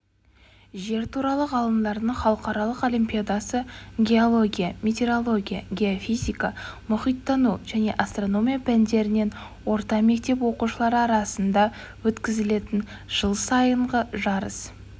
жер туралы ғылымдардың халықаралық олимпиадасы геология метеорология геофизика мұхиттану және астрономия пәндерінен орта мектеп оқушылары арасында өткізілетін жыл сайынғы жарыс